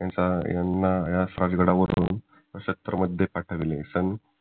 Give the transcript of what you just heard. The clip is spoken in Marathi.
यांना याच राजगडावरून पाठवले